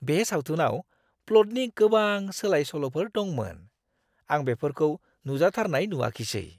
बे सावथुनाव प्लटनि गोबां सोलाय-सोल'फोर दंमोन। आं बेफोरखौ नुजाथारनाय नुआखिसै!